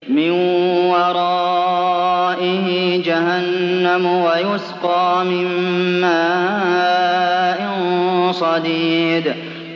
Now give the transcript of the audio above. مِّن وَرَائِهِ جَهَنَّمُ وَيُسْقَىٰ مِن مَّاءٍ صَدِيدٍ